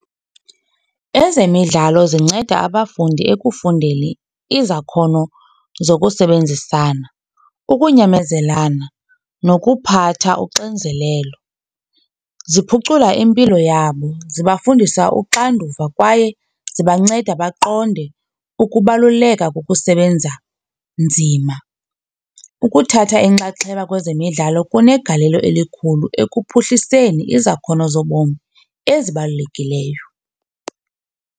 Ezemidlalo zinceda abafundi ekufundeni izakhono zokusebenzisana, ukunyamezelana nokuphatha uxinzelelo. Ziphucula impilo yabo, zibafundisa uxanduva kwaye zibanceda baqonde ukubaluleka kokusebenza nzima. Ukuthatha inxaxheba kwezemidlalo kunegalelo elikhulu ekuphuhliseni izakhono zobomi ezibalulekileyo.